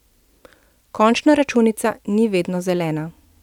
Končna računica ni vedno zelena.